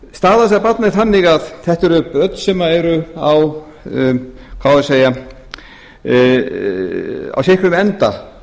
staða þessara barna er þannig að þetta eru börn sem eru á sitt hverjum enda